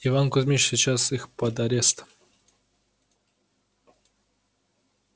иван кузмич сейчас их под арест